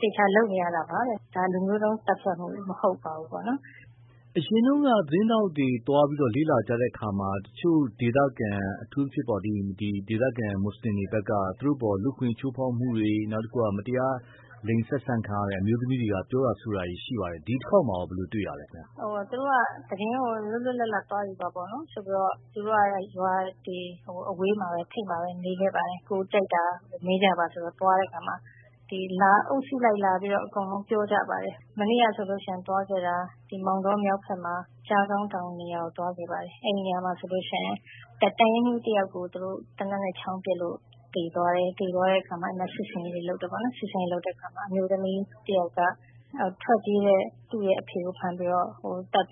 သေချာလုပ်နေရတာပါတဲ့ ဒါ လူမျိုးတုံးသတ်ဖြတ်မှု မဟုတ်ပါဘူး။ အရင်တုန်းက သတင်းထောက်တွေသွားတုန်းက လေ့လာကြတဲ့အခါမှာ အထူးသဖြင့် ဒေသခံ မွတ်စလင်တွေဘက်က သူ့တို့အပေါ်လူ့အခွင့်အရေးချိုးဖောက်မှုတွေ၊ မတရားလိင်ဆက်ဆံခံရတဲ့ အမျိုးသမီးတွေက ပြောတာဆိုတာတွေ ရှိပါတယ်။ ဒီတခေါက်မှာရော ဘယ်လိုတွေ့ရသလဲ။ သူတို့က သတင်းကို လွတ်လွတ်လပ်လပ်သွားယူပါဆိုပြီးတော့ သူတို့က ရွာတွေထိပ်၊ အဝေးမှာပဲနေခဲ့ပါတယ်။ ကိုယ်ကြိုက်တာမေးကြပါဆိုပြီးတော့ သွားတဲ့အခါမှာ အုပ်စုလိုက်လာပြီးတော့ ပြောကြပါတယ်။ မနေ့ကဆိုရင် သွားခဲ့တာ ဒီမောင်တောမြောက်ဘက်မှာ ကျားခေါင်းတောင်နေရာကိုသွားခဲ့ပါတယ်။ အဲဒီနေရာမှာဆိုရင် တပ်ရင်းမှူးတယောက်ကို သေနတ်နဲ့ ချောင်းပစ်လို့ သေသွားတယ်။ သေသွားတဲ့အခါ စစ်ဆင်ရေးတွေလုပ်တယ်၊ အဲလိုလုပ်တဲ့အခါမှာ အမျိုးသမီးတယောက်က ထွက်ပြေးတဲ့ သူ့အဖေကို ဖမ်းတ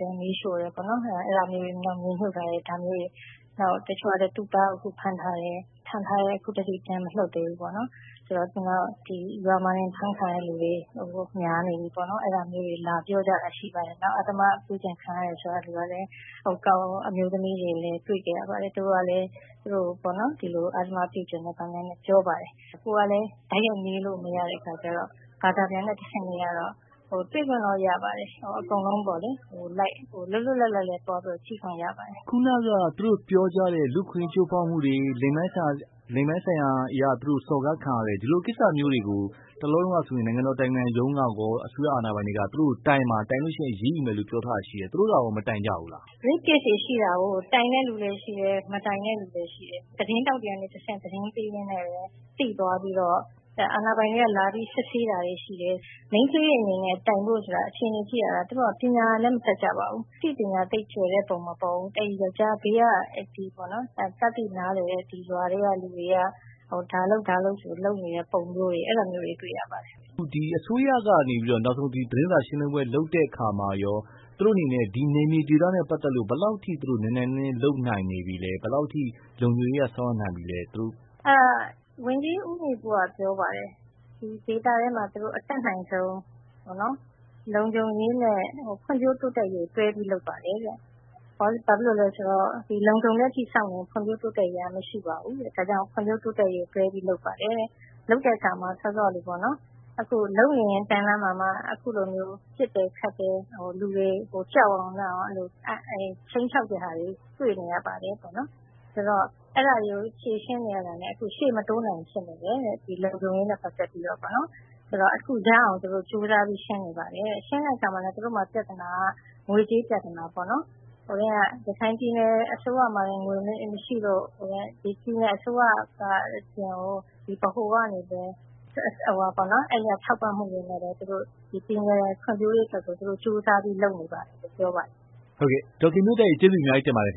ယ် မီးရှို့တယ်ပေါ့နော် ၊ မြေမြုပ်ထားတယ် ဒါမျိုးတွေ။ တချို့ကလည်း သူ့သားကိုဖမ်းထားတယ် အခုအထိ ပြန်မလွှတ်သေးဘူးပေါ့နော်။ နောက်ရွာမှာ အဖမ်းခံရတဲ့သူတွေ များနေပြီပေါ့နော် အဲဒါတွေလာပြောကြတာတွေရှိတယ်။ နောက်ပြီး အဓမ္မပြုကျင့်ခံရတယ်ဆိုတဲ့အမျိုးသမီးတွေကိုလည်း တွေ့ခဲ့ရပါတယ်။ သူတို့က အဓမ္မပြုကျင့်ခံရတယ်ဆိုတာတွေပြောပါတယ်။ ကိုယ်ကလည်း တိုက်ရိုက်မေးလို့မရတဲ့အခါကျတော့ ဘာသာပြန်နဲ့ တဆင့်မေးရတော့ ၊ တွေ့ခွင့်တော့ရပါတယ် အကုန်လုံးပေါ့နော် ၊ လွတ်လွတ်လပ်လပ်လည်း ကြည့်ခွင့်ရပါတယ်။ ခုနက လူ့အခွင့်အရေးချိုးဖောက်မှုတွေ၊ လိင်ပိုင်းဆိုင်ရာအရ စော်ကားခံရတယ် ဒီလိုကိစ္စမျိုးတွေကို တလောတုန်းကဆိုရင် နိုင်ငံတော်အတိုင်ပင်ခံရုံးကရော သူတို့ကိုတိုင်ပါ၊ တိုင်ရင် အရေးယူမယ်လို့ ပြောထားတာရှိတယ်။ သူတို့ကရော မတိုင်ကြဘူးလား။ Rape case ရှိတာကို တိုင်တဲ့လူလည်းရှိတယ်။ မတိုင်တဲ့လူတွေလည်း ရှိတယ်။ သတင်းထောက်တွေကတဆင့် သတင်းပေးရင်းနဲ့ သိသွားပြီးတော့ အာဏာပိုင်တွေက လာပြီးစစ်ဆေးတာတွေရှိတယ်။ မိန်းကလေးအနေနဲ့ တိုင်ဖို့ဆိုတာကလည်း သူတို့က ပညာလည်းမတတ်ကြပါဘူး။ အသိပညာကြွယ်ဝတဲ့ပုံမပေါ်ဘူး။ ဘေးက ရွာထဲက တတ်သိနားလည်တဲ့ သူတွေက ဒါလုပ် ဆိုပြီးတော့ လုပ်နေတဲ့ပုံမျိုးတွေ တွေ့ရပါတယ်။ အစိုးရက နောက်ဆုံး သတင်းစာရှင်းလင်းပွဲ လုပ်တဲ့အခါမှာရော သူတို့အနေနဲ့ နယ်မြေဒေသနဲ့ ပတ်သက်ပြီးတော့ ဘယ်လောက်အထိ သူတို့ နိုင်နိုင်နင်းနင်းလုပ်နိုင်ပြီလဲ။ ဘယ်လောက်အထိ လုံခြုံရေးအရ ဆောင်ရွက်နိုင်ပြီလဲ။ ဝန်ကြီးဦးညီပုက ပြောပါတယ် ဒေသအတွင်းမှာ သူတို့ အတတ်နိုင်ဆုံး လုံခြုံရေးနဲ့ ဖွံ့ဖြိုးတိုးတက်ရေးကို တွဲပြီးလုပ်ပါတယ်တဲ့။ ဘာဖြစ်လို့လဲဆိုတော့ လုံခြုံတဲ့အထိ စောင့်ရင် ဖွံ့ဖြိုးတိုးတက်ရေးက မရှိပါဘူးတဲ့။ ဒါကြောင့် ဖွံ့ဖြိုးတိုးတက်ရေးကို တွဲပြီးလုပ်ပါတယ်တဲ့။ လုပ်တဲ့အခါမှာ စောစောကလိုပေ့ါနော် လုပ်နေရင်းနဲ့မှ ၊ ပစ်ခတ်တယ် လူတွေကို ကြောက်အောင် ခြိမ်းခြောက်တာတွေ တွေ့နေရပါတယ်တဲ့။ အဲဒါတွေကို ဖြေရှင်းနေရတာနဲ့ ရှေ့မတိုးနိုင်ဖြစ်နေတယ် ဒီလုံခြုံရေးနဲ့ ပတ်သက်ပြီးတော့ ။ ဆိုတော့ အခုသူတို့ ရအောင်ကြိုးစားပြီးရှင်းနေပါတယ်တဲ့ ၊ ရှင်းတဲ့အခါမှာ ပြဿနာက ငွေကြေးပြဿနာပေါ့နော် ရခိုင်ပြည်နယ်အစိုးရမှာ ငွေမရှိလို့ ပြည်နယ်အစိုးရမှာ ဗဟိုကနေပဲ အဲဒီက ထောက်ပံ့မှုတွေနဲ့ပဲ သူတို့ ကြိုးစားပြီးလုပ်နေပါတယ် လို့ပြောပါတယ်။ ဟုတ်ကဲ့ ဒေါ်ခင်မျိုးသက် ကျေးဇူးအများကြီးတင်ပါတယ်ခ